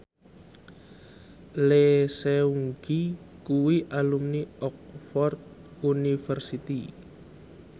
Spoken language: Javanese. Lee Seung Gi kuwi alumni Oxford university